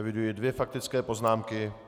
Eviduji dvě faktické poznámky.